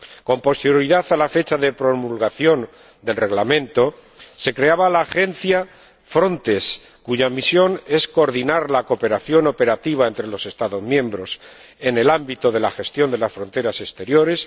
Con posterioridad a la fecha de promulgación del Reglamento se creaba la Agencia Frontex, cuya misión es coordinar la cooperación operativa entre los Estados miembros en el ámbito de la gestión de las fronteras exteriores